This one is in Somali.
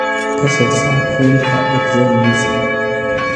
ka soo saar faylka Excel liiska